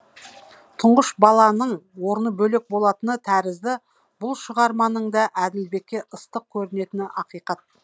тұңғыш баланың орны бөлек болатыны тәрізді бұл шығарманың да әділбекке ыстық көрінетіні ақиқат